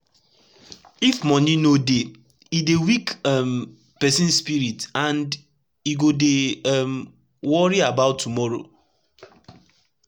if moni no dey e dey weak um pesin spirit and e go dey um worry about tomoro